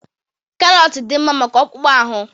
Karọt dị mma maka akpụkpọ ahụ.